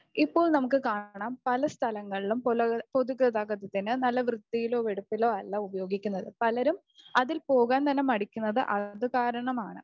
ഇപ്പോൾ നമുക്ക് കാണാം പല സ്ഥലങ്ങളിലും പുല, പൊതുഗതാഗതത്തിനെ നല്ല വൃത്തിയിലോ വെടുപ്പിലോ അല്ല ഉപയോഗിക്കുന്നത്. പലരും അതിൽ പോകാൻ തന്നെ മടിക്കുന്നത് അത് കാരണമാണ്.